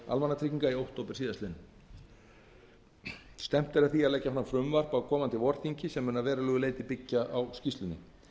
almannatrygginga í október síðastliðnum stefnt er að því að leggja fram frumvarp á komandi vorþingi sem mun að verulegu leyti byggjast á skýrslunni